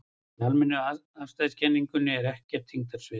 Í almennu afstæðiskenningunni er ekkert þyngdarsvið.